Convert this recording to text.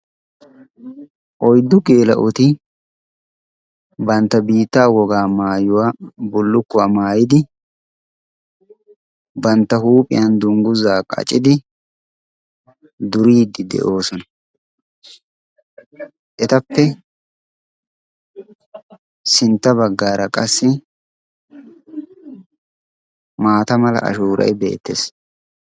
oyddu geela7oti bantta biitta wogaa maayuwaa bullukkuwaa maayidi, bantta huuphiyan dungguzaa qacidi, duriiddi de7oosona. etappe sintta baggaara qassi maata mala ashuuray beettees.